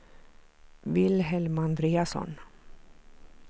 Vilhelm Andreasson